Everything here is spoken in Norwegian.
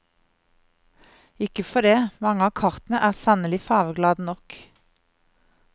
Ikke for det, mange av kartene er sannelig fargeglade nok.